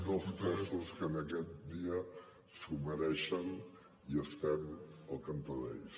dos cossos que en aquest dia s’ho mereixen i estem al cantó d’ells